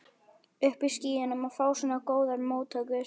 Uppi í skýjunum að fá svona góðar móttökur.